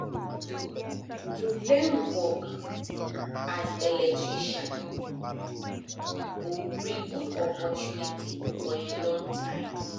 to learn work as electrician go bring good opportunity for a long time